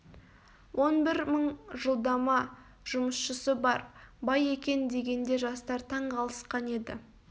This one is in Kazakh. он бір мың жалдама жұмысшысы бар бай екен дегенде жастар таңғалысқан еді